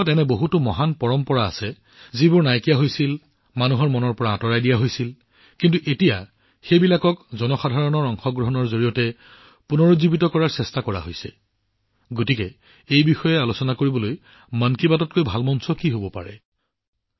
আমাৰ দেশত এনে বহুতো মহান পৰম্পৰা আছে যিবোৰ নাইকিয়া হৈ গৈছিল মানুহৰ মন আৰু হৃদয়ৰ পৰা আঁতৰাই দিয়া হৈছিল কিন্তু এতিয়া এইবোৰক জনসাধাৰণৰ অংশগ্ৰহণৰ শক্তিৰে পুনৰুজ্জীৱিত কৰাৰ চেষ্টা কৰা হৈছে সেয়েহে সেই বিষয়ে আলোচনা কৰাৰ বাবে মন কী বাততকৈ ভাল মঞ্চ কি হব পাৰে